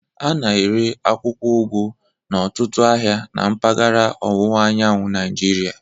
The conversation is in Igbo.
A na-ere akwụkwọ ugu n'ọtụtụ ahịa na mpaghara ọwụwa anyanwụ Nigeria